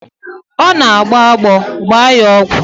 Ọ nọ na-agbọ agbọ, gbaa ya ọgwụ!